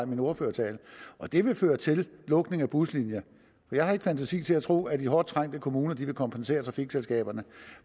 min ordførertale og det vil føre til lukning af buslinjer jeg har ikke fantasi til at tro at de hårdt trængte kommuner vil kompensere trafikselskaberne